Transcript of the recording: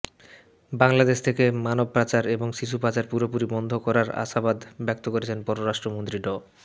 বাংলাদেশ থেকে মানবপাচার এবং শিশু পাচার পুরোপুরি বন্ধ করার আশাবাদ ব্যক্ত করেছেন পররাষ্ট্রমন্ত্রী ড